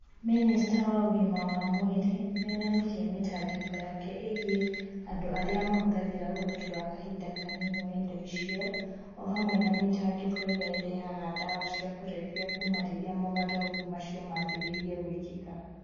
Minista wa ũgima wa mwĩrĩ nĩ onanirie mĩtangĩko yake ĩgiĩ andũ arĩa mahũthagĩra ũhoti wa kahinda kanini wa indo icio, o hamwe na mĩtangĩko ĩrĩa ĩrehaga ndawa cia kũrebia kuuma rĩrĩa mogarũrũku macio maambĩrĩirie gwĩkĩka